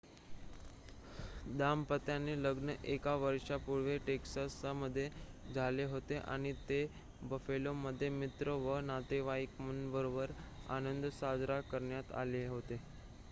दाम्पत्याचे लग्न एक वर्षापूर्वी टेक्सासमध्ये झाले होते आणि ते बफेलोमध्ये मित्र व नातेवाईकांबरोबर आनंद साजरा करण्यासाठी आले होते